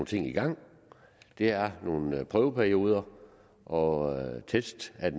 ting i gang det er nogle prøveperioder og test af